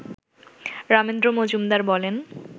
রামেন্দ্র মজুমদার বলেন